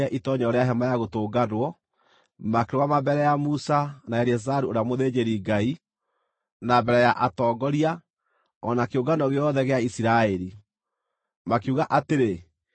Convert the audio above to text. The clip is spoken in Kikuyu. itoonyero rĩa Hema-ya-Gũtũnganwo, makĩrũgama mbere ya Musa, na Eleazaru ũrĩa mũthĩnjĩri-Ngai, na mbere ya atongoria, o na kĩũngano gĩothe gĩa Isiraeli, makiuga atĩrĩ,